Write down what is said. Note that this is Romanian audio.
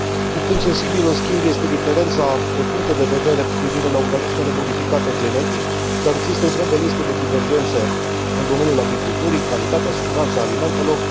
Un punct sensibil în schimb este diferența de puncte de vedere cu privire la organismele modificate genetic, existând o întreagă listă de divergențe în domeniul agriculturii calitatea, siguranța alimentelor.